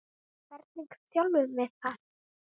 Hvernig þjálfum við það?